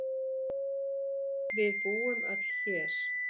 Við búum öll hér.